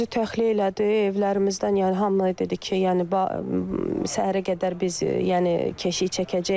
Polis bizi təxliyə elədi evlərimizdən, yəni hamıya dedi ki, yəni səhərə qədər biz, yəni keşiy çəkəcəyik.